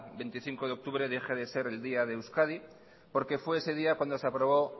veinticinco de octubre deje de ser el día de euskadi porque fue ese día cuando se aprobó